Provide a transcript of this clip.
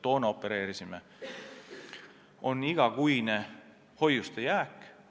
Tähtis on ka igakuine hoiuste jääk.